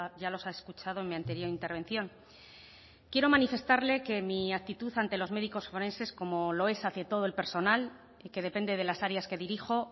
ya los ha escuchado en mi anterior intervención quiero manifestarle que mi actitud ante los médicos forenses como lo es hacia todo el personal y que depende de las áreas que dirijo